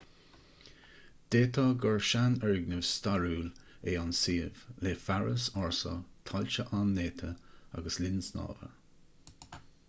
d'fhéadfadh gur seanfhoirgneamh stairiúil é an suíomh le fearas ársa tailte an-néata agus linn snámha